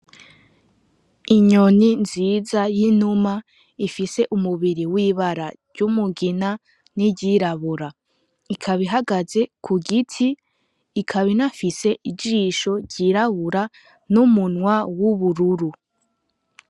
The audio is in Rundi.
Inyoni nziza y'inuma ifise umubiri w'ibara ry'umugina n'iryirabura ikaba ihagaze ku giti ikaba ifisen'ijisho ryirabura n'umunwa w'ubururu.